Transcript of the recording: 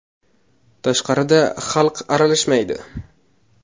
Tashqarida xalq aralashmaydi.